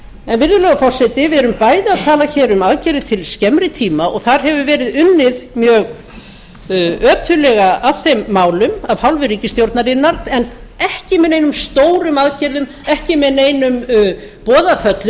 en virðulegur forseti við erum bæði að tala hér um aðgerðir til skemmri tíma og það hefur verið unnið mjög ötullega að þeim hálfu af hálfu ríkisstjórnarinnar en ekki með neinum stórum aðgerðum ekki með neinum boðaföllum